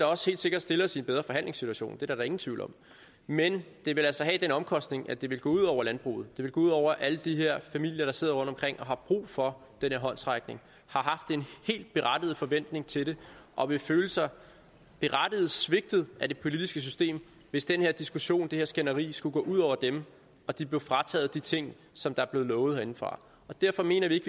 også helt sikkert stille os i en bedre forhandlingssituation det er der ingen tvivl om men det ville altså have den omkostning at det ville gå ud over landbruget at det ville gå ud over alle de her familier der sidder rundtomkring og har brug for den her håndsrækning og forventning til det og vil føle sig berettiget svigtet af det politiske system hvis den her diskussion det her skænderi skulle gå ud over dem og de blev frataget de ting som er blevet lovet herindefra derfor mener vi ikke